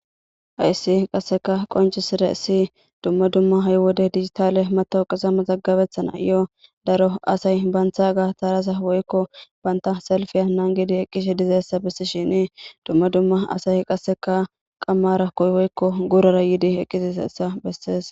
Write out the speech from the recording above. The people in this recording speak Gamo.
Hayssi qassikka qonccisssizayssi dumma dumma ha7i wode dijithaale maththooqe mazagabeththanaayyoo daro asay banththaagaa tharaza workko banththa salppiya nanggidi eqqishedizayssa bessishiini dumma dumma asay qassekka qammaara woykko guurara yiide eqqizeessa bessees.